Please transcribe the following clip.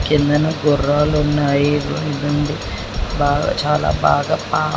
కిందన గుర్రాలు ఉన్నాయి ఇది ఉంది బాగా చాలా బాగా పా--